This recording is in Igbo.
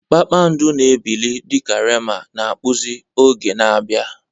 Kpakpando na-ebili dị ka Rema na-akpụzi oge na-abịa.